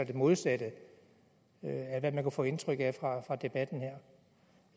det modsatte af hvad man kunne få indtryk af fra debatten her